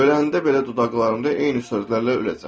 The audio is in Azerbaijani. Öləndə belə dodaqlarımda eyni sözlərlə öləcəm.